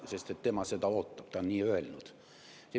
Sest tema seda ootab, ta on nii öelnud.